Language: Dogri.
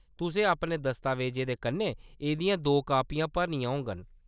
तुसें अपने दस्तावेजें दे कन्नै एह्‌‌‌दियां दो कापियां भरनियां होङन।